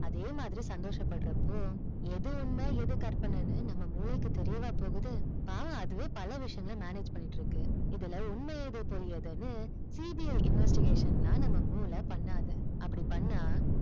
அதே மாதிரி சந்தோஷ படுறப்போ எது உண்மை எது கற்பனை நம்ம மூளைக்கு தெரியவா போது பாவம் அதுவே பல விஷியங்கள் manage பன்னிட்டு இருக்கு இதுல உண்மை எது பொய் எதுனு CBIinvestigation தான் நம்ம மூளை பன்னாது அப்படி பன்னா